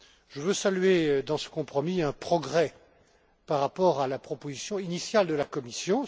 Je veux saluer dans ce compromis un progrès par rapport à la proposition initiale de la Commission.